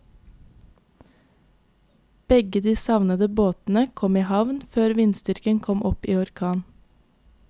Begge de savnede båtene kom i havn før vindstyrken kom opp i orkan.